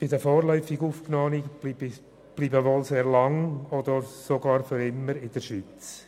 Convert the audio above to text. Die vorläufig Aufgenommenen bleiben wohl sehr lange oder sogar für immer in der Schweiz.